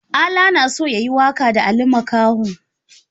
Ala na so ya yi waƙa da Ali Makaho.